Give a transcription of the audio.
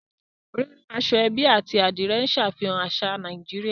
Rírán aṣọ-ẹ́bí àti Adìrẹ̀ ń ṣàfihàn àṣà Nàìjíríà